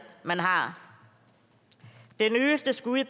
man har det nyeste skud